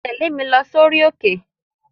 Tẹ̀lé mi lọ sórí òkè!